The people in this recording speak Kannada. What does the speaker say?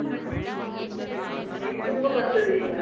ಮೀನ್ ತುಂಬ ಬರ್ತದ್ ಈಗ.